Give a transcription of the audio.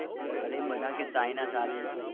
અરે બધા કે સારી